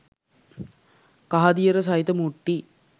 කහදියර සහිත මුට්ටි